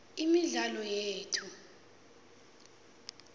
imidlalo yethu